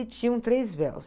E tinham três véus.